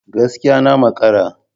Gaskiya! Na makara